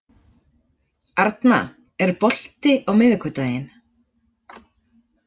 Arna, er bolti á miðvikudaginn?